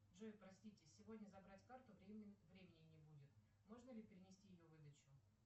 джой простите сегодня забрать карту времени не будет можно ли перенести ее выдачу